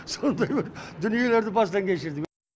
сондай бір дүниелерді бастан кешірдім